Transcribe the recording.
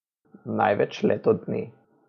Največ leto dni.